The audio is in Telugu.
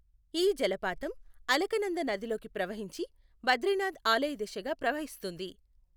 ఈ జలపాతం అలకనంద నదిలోకి ప్రవహించి, బద్రీనాథ్ ఆలయదిశగా ప్రవహిస్తుంది.